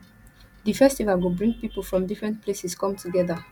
di festival go bring people from different places come together